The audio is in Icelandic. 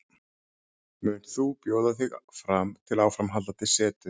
Munt þú bjóða þig fram til áframhaldandi setu?